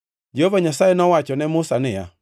Jehova Nyasaye nowacho ne Musa niya,